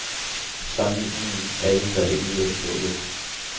Sammenligningen er ikke grebet ud af den blå luft.